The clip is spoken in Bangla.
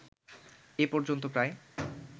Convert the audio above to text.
এ পর্যন্ত প্রায়